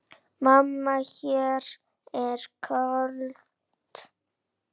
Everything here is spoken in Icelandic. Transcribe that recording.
Mamma mér er kalt!